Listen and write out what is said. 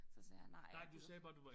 Så sagde jeg nej jeg gider ikke